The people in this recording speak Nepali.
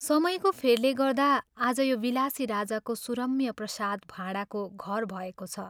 समयको फेरले गर्दा आज यो विलासी राजाको सुरम्य प्रासाद भाडाको घर भएको छ।